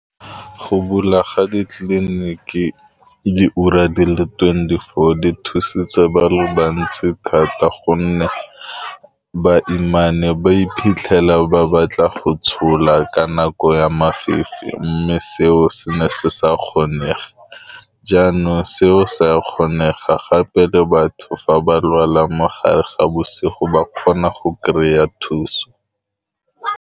Go bula ga di tlile ne ke di ura di le twenty-four di thusitse ba le bantsi thata gonne baimane ba iphitlhela ba batla go tshola kana ko ya mafifi, mme seo se ne se sa kgonege, jaanong seo se a kgonega gape le batho fa ba lwala mo gare ga bosigo ba kgona go kry-a thuso.